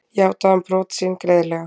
Játaði hann brot sín greiðlega